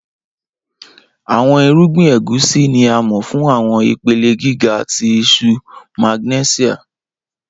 Awọn irugbin Egusi ni a mọ fun awọn ipele giga ti iṣuu magnẹsia.